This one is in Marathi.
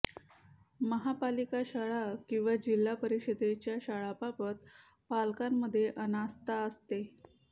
महापालिका शाळा किंवा जिल्हा परिषदेच्या शाळांबाबत पालकांमध्ये अनास्था असते